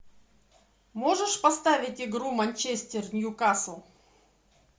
можешь поставить игру манчестер ньюкасл